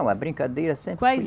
Não, a brincadeira sempre foi